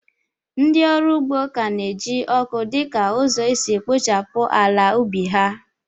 Ndị ọrụ ugbo ka na-eji ọkụ dị ka ụzọ isi kpochapụ ala ubi ha.